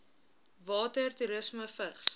water toerisme vigs